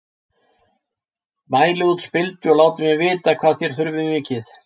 Mælið út spildu og látið mig vita hvað þér þurfið mikið.